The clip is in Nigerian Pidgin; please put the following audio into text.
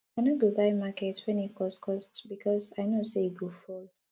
i no go buy market wen e cost cost because i know sey e go fall